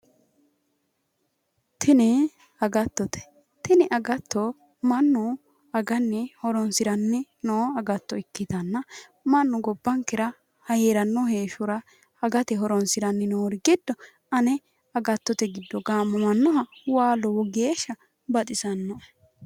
tini agattote, tini agatto mannu aganni horonsi'ranni no agatto ikkitanna mannu gobbankera hee'ranno heeshshora agate horonsi'rannori giddo ane agattote giddo gaamamannoha waa lowo geeshsha baxisannoe.